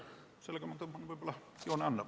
Sellega tõmban praegu joone alla.